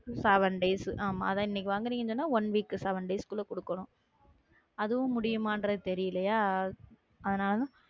Seven days ஆமா அதான் இன்னைக்கு வாங்குனீங்கன்னா one week உ seven days க்குள்ள கொடுக்கணும் அதுவும் முடியுமான்றது தெரியலையா ஆனாலும் உம்